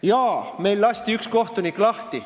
Jah, meil lasti üks kohtunik lahti.